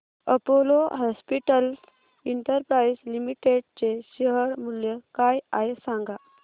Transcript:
Apollo hospitals enterprise limited चे share मूल्य काय आहे सांगा